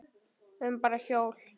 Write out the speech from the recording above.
Við erum bara hjól.